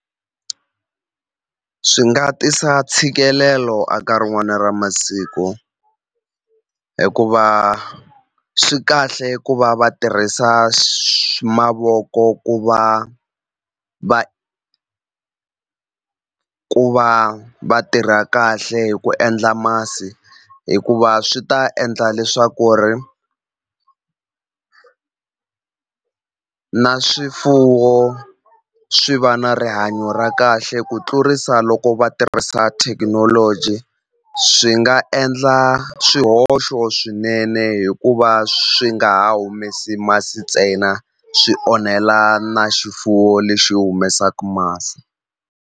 Swi nga tisa ntshikelelo a ka rin'wani ra masiku hikuva swi kahle ku va va tirhisa mavoko ku va ku va va tirha kahle hi ku endla masi hikuva swi ta endla leswaku ri na swifuwo swi va na rihanyo ra kahle ku tlurisa loko va tirhisa thekinoloji swi nga endla swihoxo swinene hikuva swi nga ha humesi masi ntsena swi onhela na xifuwo lexi humesaku masi.